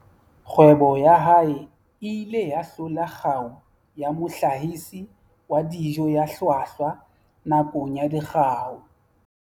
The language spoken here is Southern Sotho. Kgwebo ya hae e ile ya hlola kgau ya mohlahisi wa dijo ya hlwahlwa nakong ya Dikgau